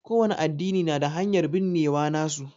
ƙo wani addini na da hanyar binnewa nasu.